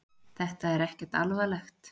Þetta er ekkert alvarlegt